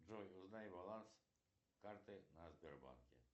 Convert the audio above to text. джой узнай баланс карты на сбербанке